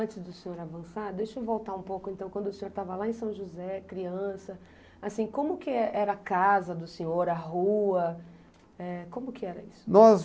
Antes do senhor avançar, deixa eu voltar um pouco, então, quando o senhor estava lá em São José, criança, assim, como que eh era a casa do senhor, a rua, eh, como que era isso? Nós